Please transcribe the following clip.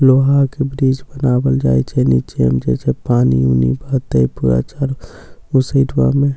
लोहा के ब्रिज बनावल जाई छे निचे उमचे छे पानी उनी बहते पूरा बहते उ सईडवा मे --